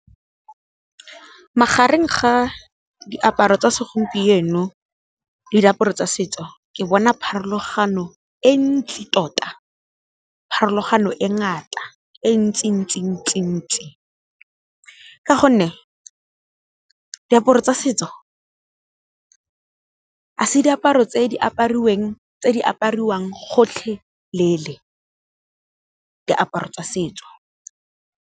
Magareng ga diaparo tsa segompieno le diaparo tsa setso ke bona pharologano e ntsi tota, pharologano e ngata e ntsi ntsi ntsi ntsi. Ka gonne diaparo tsa setso ga se diaparo tse di apariwang gotlhelele diaparo tsa setso.